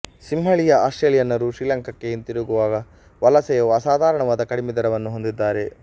ಸಿಂಹಳೀಯ ಆಸ್ಟ್ರೇಲಿಯನ್ನರು ಶ್ರೀಲಂಕಾಕ್ಕೆ ಹಿಂದಿರುಗುವ ವಲಸೆಯ ಅಸಾಧಾರಣವಾದ ಕಡಿಮೆ ದರವನ್ನು ಹೊಂದಿದ್ದಾರೆ